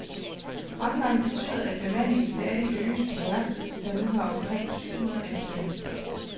Fremgangen betyder, at bemandingen stadig øges på værftet, der nu har omkring syv hundrede ansatte.